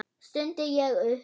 stundi ég upp.